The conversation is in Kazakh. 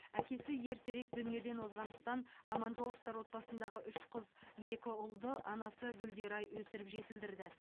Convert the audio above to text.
әкесі ертерек дүниеден озғандықтан аманжоловтар отбасындағы үш қыз екі ұлды анасы гүлдерай өсіріп жетілдірді